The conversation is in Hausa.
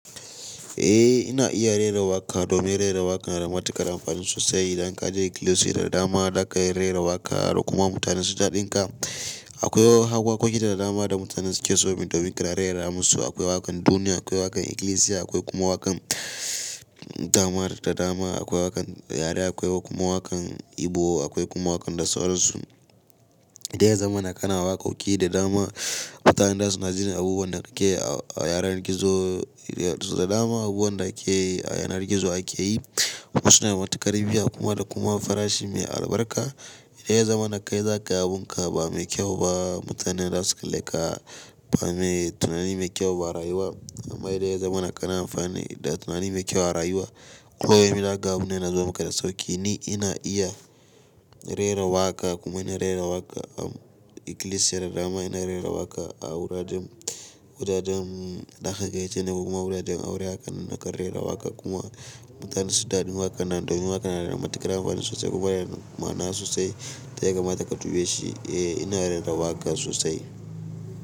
Eh ina iya rera waƙa domin rera waƙa na da matuƙar amfanin sosai. Idan ka je ikilisiya da dama, za ka ga rera waƙa da kuma mutane su daɗinka. Akwai waƙoƙi da dama da mutane suke so domin kada a rera musu. Akwai waƙan duniya, akwai waƙan ikilisiya, akwai kuma waƙan damar da dama. Akwai waƙan yare, akwai kuma waƙan Igbo, akwai kuma waƙan da sauransu. Idan ya zama kana waƙoƙi da dama, mutanen da su na jin abubuwan da kake a yanar gizo, da dama abubuwan da ake a yanar gizo ake yi. Wasu na da matuƙar biya da kuma farashi mai albarka. Idan ya zama na kai za ka yi abunka ba mai kyau ba, mutanen za su kaleka ba mai tunani mai kyau ba a rayuwa. Amma idan ya zama na kana amfani da tunani mai kyau a rayuwa. Akwai abin da aka gabu ne na zama kaɗa sauƙi. Ni ina iya rera waƙa kuma ina rera waƙa a ikilisiya da dama. Ina rera waƙa a wuraren, wuraren zaka ganin ce da kuma wuraren aure. Haka nan ina kan rera waƙa kuma mutane su daɗi waƙan nan domin waƙan na da matuƙar amfanin sosai kuma yana ma nasu sosai. Ta ya kamata ka tuge shi. Eh ina rera waƙa sosai.